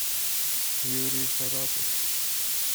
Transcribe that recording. юрий шарапов